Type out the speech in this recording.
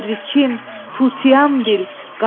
Təbərrüküm, tutiyam bil,